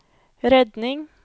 redning